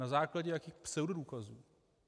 Na základě jakých pseudodůkazů?